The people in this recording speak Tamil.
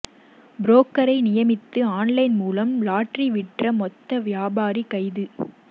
புரோக்கரை நியமித்து ஆன்லைன் மூலம் லாட்டரி விற்ற மொத்த வியாபாரி கைது